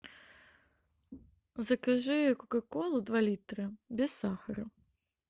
закажи кока колу два литра без сахара